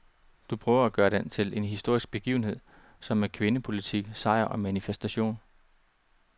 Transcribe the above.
Du prøver at gøre den til en historisk begivenhed som en kvindepolitisk sejr og manifestation.